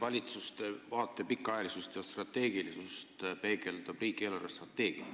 Valitsuste vaate pikaajalisust ja strateegilisust peegeldab riigi eelarvestrateegia.